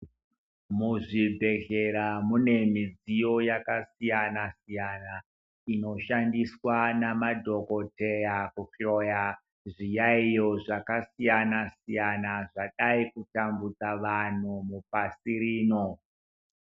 Muzvibhedhlera mune midziyo yakasiyana-siyana, inoshandiswa namadhokodheya kuhloya, zviyaiyo zvakasiyana-siyana zvadai kutambudza vanhu mupasi rino.